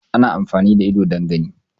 Ana amfani da ido ne don gani